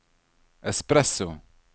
espresso